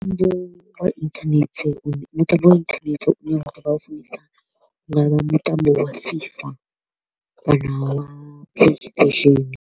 Mutambo wa internet u mutambo wa internet u hu nga vha mutambo wa FIFA kana wa Play station.